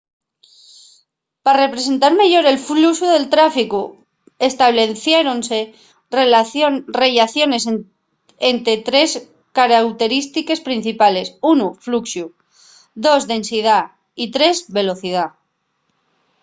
pa representar meyor el fluxu del tráficu estableciéronse rellaciones ente trés carauterístiques principales: 1 fluxu 2 densidá y 3 velocidá